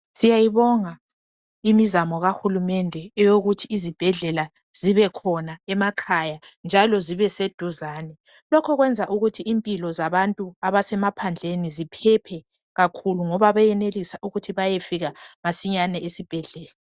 Siyayibonga imizamo kahulumende eyokuthi izibhedlela zibekhona emakhaya njalo zibeseduzane. Lokho kwenza ukuthi impilo zabantu abasemaphandleni ziphephe kakhulu ngoba bayenelisa ukuthi bayefika masinyane esibhedlela.